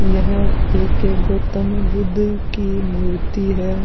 यह एक गौतम बुद्ध की मूर्ति है।